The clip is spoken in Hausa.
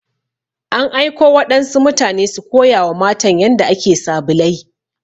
An aiko waɗansu mutane su koya wa matan yanda ake sabulai.